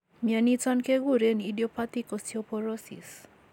Inoniton kekuren idiopathic osteoporosis